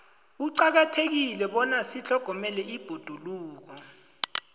kuqakathekile bona sitlhogomele ibhoduluko